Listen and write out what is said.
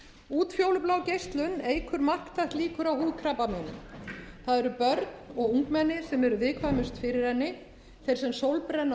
útfjólublá geislun eykur marktækt líkur á húðkrabbameinum það eru börn og ungmenni sem eru viðkvæmust fyrir henni þeir sem sólbrenna